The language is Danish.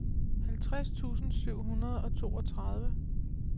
halvtreds tusind syv hundrede og toogtredive